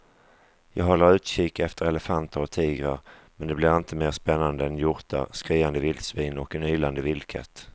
Jag håller utkik efter elefanter och tigrar men det blir inte mer spännande än hjortar, skriande vildsvin och en ylande vildkatt.